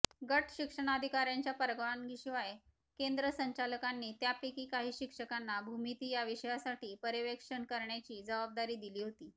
गटशिक्षणाधिकार्यांच्या परवानगीशिवाय केंद्र संचालकांनी त्यापैकी काही शिक्षकांना भूमिती या विषयासाठी पर्यवेक्षण करण्याची जबाबदारी दिली होती